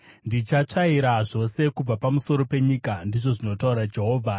“Ndichatsvaira zvose kubva pamusoro penyika,” ndizvo zvinotaura Jehovha.